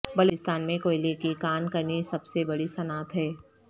بلوچستان میں کوئلے کی کان کنی سب سے بڑی صنعت ہے